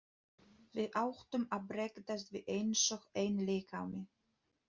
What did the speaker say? Við áttum að bregðast við einsog einn líkami.